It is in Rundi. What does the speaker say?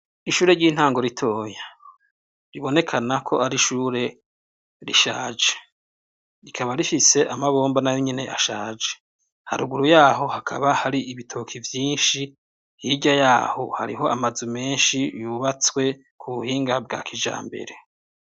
Ishure ry'intango ritoye ribonekana ko ari ishure rishaje rikaba rifise amabomba na yo nyine ashaje haruguru yaho hakaba hari ibitoki vyinshi hijya yaho hariho amazu menshi yubatswe ku buhinga bwa kijambere.